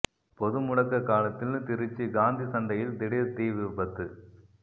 பொதுமுடக்க காலத்தில் திருச்சி காந்தி சந்தையில் திடீர் தீ விபத்து